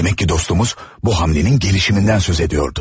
Demək ki, dostumuz bu hərəkətin inkişafından danışırdı.